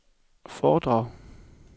foredrag